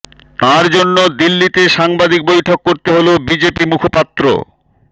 তাঁর জন্য দিল্লিতে সাংবাদিক বৈঠক করতে হল বিজেপি মুখপাত্র